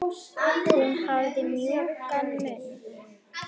Hún hafði samt mjúkan munn.